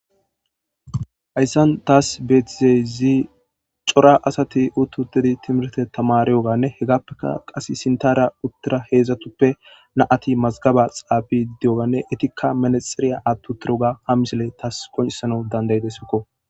hayssan taas beetizeyzi cora asati uttutedi timirte tamariyoganne hegappeka qas sintarya uttira heedzdzatuppe naati mazgaba xaabi diyoganne etikka manasxeriya attu tiroga ha misile taas koncisana dandayide sokko